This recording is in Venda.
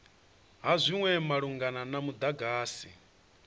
ha zwinwe malugana na mudagasi